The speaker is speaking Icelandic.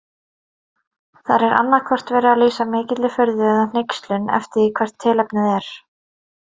Þar er annaðhvort verið að lýsa mikilli furðu eða hneykslun eftir því hvert tilefnið er.